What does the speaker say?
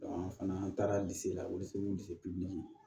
an fana an taara la